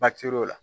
Batir'o la